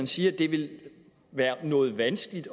siger at det vil være noget vanskeligt